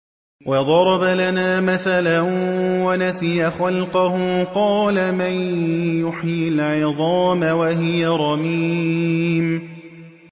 وَضَرَبَ لَنَا مَثَلًا وَنَسِيَ خَلْقَهُ ۖ قَالَ مَن يُحْيِي الْعِظَامَ وَهِيَ رَمِيمٌ